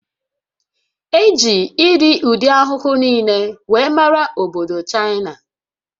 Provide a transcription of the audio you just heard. E ji irii ụdị ahụhụ niile wee mara obodo Chaịna